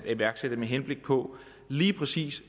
iværksætte med henblik på lige præcis